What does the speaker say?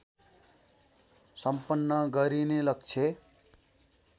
सम्पन्न गरिने लक्ष्य